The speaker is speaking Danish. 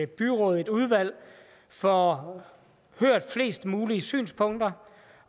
byråd eller udvalg får hørt flest mulige synspunkter